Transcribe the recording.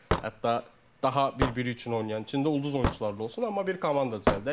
Hətta daha bir-biri üçün oynayan, içində ulduz oyunçuları da olsun, amma bir komanda düzəldək.